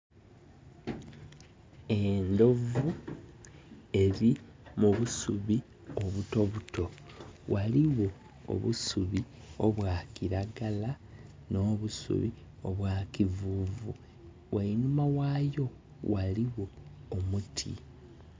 Endhovu eli mu busubi obutobuto. Ghaligho obusubi obwa kiragala nho busibu obwa kivuuvu. Ghainuma ghaayo ghaligho omuti.